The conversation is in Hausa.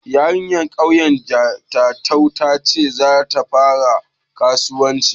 Yarinyar ƙauyen su Jatau ta ce za ta fara karuwanci.